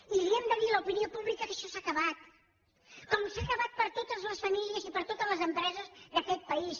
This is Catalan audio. i li hem de dir a l’opinió pública que això s’ha acabat com s’ha acabat per a totes les famílies i per a totes les empreses d’aquest país